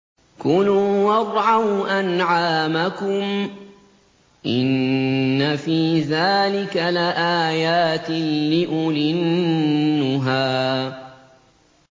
كُلُوا وَارْعَوْا أَنْعَامَكُمْ ۗ إِنَّ فِي ذَٰلِكَ لَآيَاتٍ لِّأُولِي النُّهَىٰ